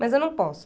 Mas eu não posso.